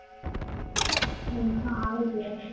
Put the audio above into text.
ઊંઘ તો આવે જ ને